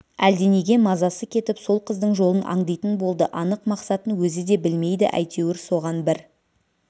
әлденеге мазасы кетіп сол қыздың жолын аңдитын болды анық мақсатын өзі де білмейді әйтеуір соған бір